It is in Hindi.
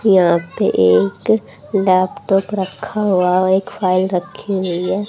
यहां पे एक लैपटॉप रखा हुआ एक फाइल रखी हुई है।